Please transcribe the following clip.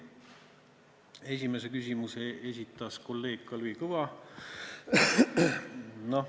Esimese küsimuse esitas kolleeg Kalvi Kõva.